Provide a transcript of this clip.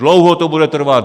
Dlouho to bude trvat.